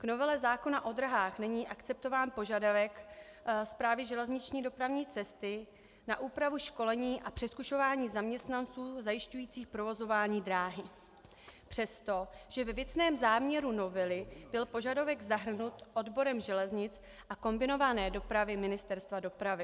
V novele zákona o dráhách není akceptován požadavek Správy železniční dopravní cesty na úpravu školení a přezkušování zaměstnanců zajišťujících provozování dráhy přesto, že ve věcném záměru novely byl požadavek zahrnut odborem železnic a kombinované dopravy Ministerstva dopravy.